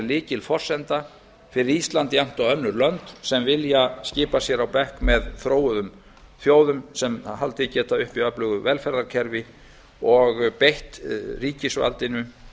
lykilforsenda fyrir ísland jafnt og önnur lönd sem vilja skipa sér á bekk með þróuðum þjóðum sem haldið geta uppi öflugu velferðarkerfi og beitt ríkisvaldinu